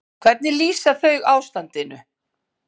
Hvernig lýsa þau ástandinu?